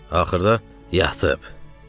Axırda yatıb dedi.